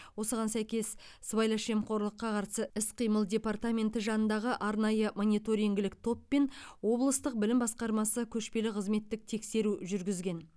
осыған сәйкес сыбайлас жемқорлыққа қарсы іс қимыл департаменті жанындағы арнайы мониторингілік топ пен облыстық білім басқармасы көшпелі қызметтік тексеру жүргізген